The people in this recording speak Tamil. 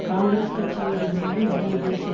காங்கிரஸ் கட்சியோடு இணைந்த இந்திய தேசிய